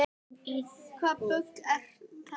Hvaða bull er í þér?